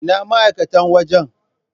Ina ma'aikatan wajan??